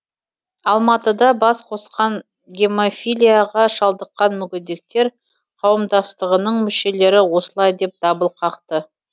алматыда бас қосқан гемофилияға шалдыққан мүгедектер қауымдастығының мүшелері осылай деп дабыл қақты